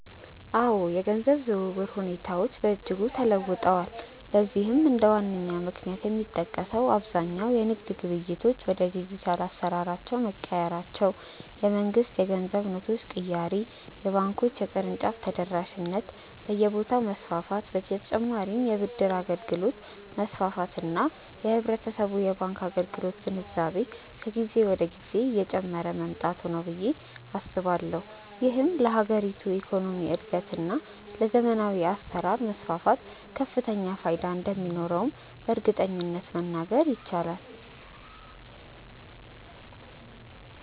አዎ፣ የገንዘብ ዝውውር ሁኔታዎች በእጅጉ ተለውጠዋል። ለዚህም እንደ ዋነኛ ምክንያት የሚጠቀሰው አብዛኛው የንግድ ግብይቶች ወደ ዲጂታል አሰራር መቀየራቸው፣ የመንግስት የገንዘብ ኖቶች ቅያሬ፣ የባንኮች የቅርንጫፍ ተደራሽነት በየቦታው መስፋፋት በ ተጨማርም የ ብድር አገልግሎት መስፋፋት እና የህብረተሰቡ የባንክ አገልግሎት ግንዛቤ ከጊዜ ወደ ጊዜ እየጨመረ መምጣቱ ነው ብዬ አስባለሁ። ይህም ለሀገሪቱ የኢኮኖሚ እድገት እና ለዘመናዊ አሰራር መስፋፋት ከፍተኛ ፋይዳ እንደሚኖረውም በእርግጠኝነት መናገር ይቻላል።